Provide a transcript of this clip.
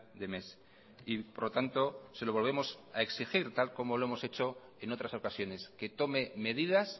de mes y por lo tanto se lo volvemos a exigir tal como lo hemos hecho en otras ocasiones que tome medidas